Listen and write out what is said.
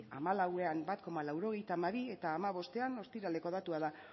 hamalauan bat koma laurogeita hamabi eta hamabostean ostiraleko datua da